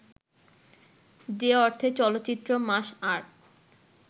যে অর্থে চলচ্চিত্র মাস আর্ট